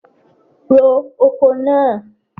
Ro oko náà!